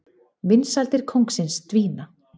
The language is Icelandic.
Vinsældir kóngsins dvína